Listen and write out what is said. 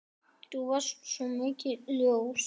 Þú varst svo mikið ljós.